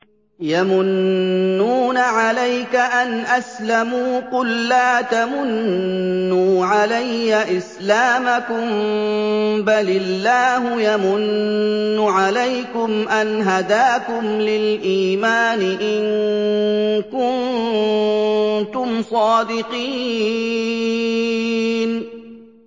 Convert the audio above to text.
يَمُنُّونَ عَلَيْكَ أَنْ أَسْلَمُوا ۖ قُل لَّا تَمُنُّوا عَلَيَّ إِسْلَامَكُم ۖ بَلِ اللَّهُ يَمُنُّ عَلَيْكُمْ أَنْ هَدَاكُمْ لِلْإِيمَانِ إِن كُنتُمْ صَادِقِينَ